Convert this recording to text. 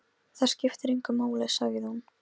Ég er þyrstur muldraði sá aftari.